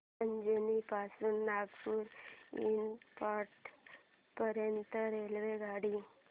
अजनी पासून नागपूर एअरपोर्ट पर्यंत रेल्वेगाडी